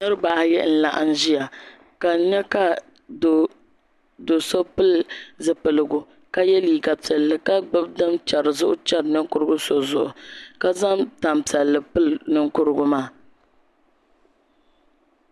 Niraba ayi n laɣam ʒiya ka n nyɛ ka do so pili zipiligu ka yɛ liiga piɛlli ka gbubi din chɛri zuɣu chɛri ninkurigu so zuɣu ka zaŋ tanpiɛlli pili ninkurigu maa